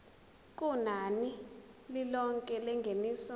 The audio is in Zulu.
kunani lilonke lengeniso